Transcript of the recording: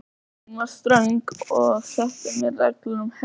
Móðir mín var ströng og setti mér reglur um hegðun.